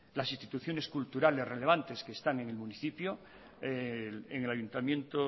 las instituciones culturales relevantes que están en el municipio el ayuntamiento